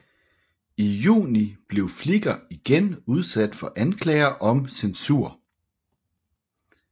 I juni blev Flickr igen udsat for anklager om censur